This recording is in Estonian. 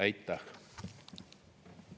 Aitäh!